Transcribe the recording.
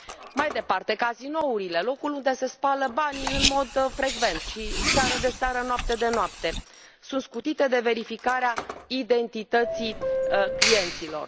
Mai departe, cazinourile locul unde se spală banii în mod frecvent și seară de seară, noapte de noapte sunt scutite de verificarea identității clienților.